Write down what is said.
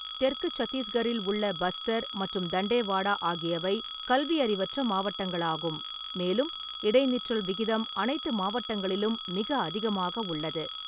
தெற்கு சத்தீஸ்கரில் உள்ள பஸ்தர் மற்றும் தண்டேவாடா ஆகியவை கல்வியறிவற்ற மாவட்டங்களாகும், மேலும் இடைநிற்றல் விகிதம் அனைத்து மாவட்டங்களிலும் மிக அதிகமாக உள்ளது.